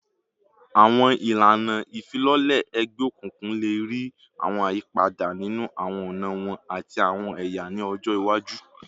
Awọn ilana ifilọlẹ egbeokunkun le rii awọn ayipada ninu awọn ọna wọn ati awọn ẹya ni ọjọ iwaju